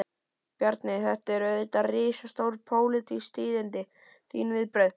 Bjarni, þetta eru auðvitað risastór, pólitísk tíðindi, þín viðbrögð?